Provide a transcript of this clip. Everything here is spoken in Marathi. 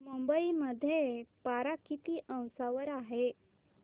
मुंबई मध्ये पारा किती अंशावर आहे